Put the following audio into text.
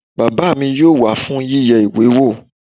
Bàbá mi yóò wá fún yíyẹ ìwé wò